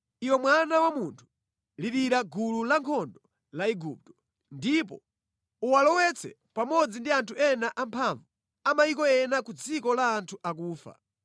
“Iwe mwana wa munthu, lirira gulu lankhondo la Igupto ndipo uwalowetse pamodzi ndi anthu ena amphamvu a mayiko ena ku dziko la anthu akufa.